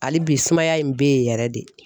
Hali bi sumaya in be yen yɛrɛ de